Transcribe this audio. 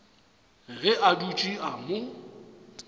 ge a dutše a mo